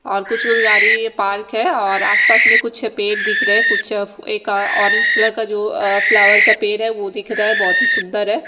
और कुछ कुछ यारी पाल्क है और आस पास में कुछ पेड़ दिख रहे है कुछ एक ओरेंज कलर का जो अ फ्लावर का पेड़ है जो दिख रहा है बहोत ही सुंदर है।